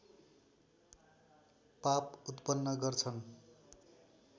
पाप उत्पन्न गर्छन्